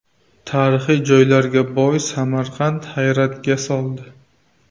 Tarixiy joylarga boy Samarqand hayratga soldi.